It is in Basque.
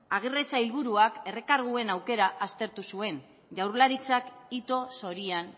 aguirre sailburuak errekarguen aukera aztertu zuen jaurlaritzak ito zorian